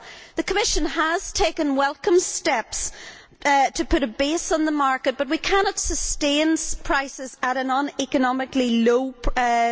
The Commission has taken welcome steps to put a base on the market but we cannot sustain prices at an uneconomically low level.